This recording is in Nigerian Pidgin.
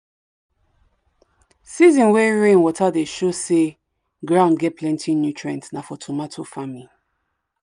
season way rainwater dey show say ground get plenty nutrients nah for tomato farming.